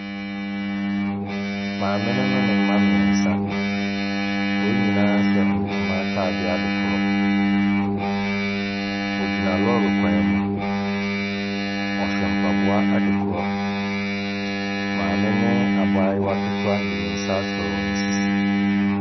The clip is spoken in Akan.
Maame no ne ne mma mmeɛnsa, wɔn nyinaa hyɛ ntoma atadeɛ adekorɔ. Wɔgyina lɔɔre kwan mu. Wɔhyɛ mpaboa adekorɔ. Maame ne abaayewa ketewa de ne nsa asɔ wɔn sisi.